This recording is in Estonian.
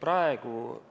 Praegu